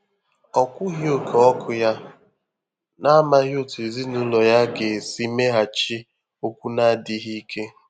Ọ́ kwùghị̀ óké 0̣kụ́ yá, n’àmàghị́ ótú èzínụ́lọ yá gà-èsí méghàchí ókwú nà ádị́ghị́ íké.